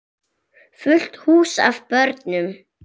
Fullt hús af börnum.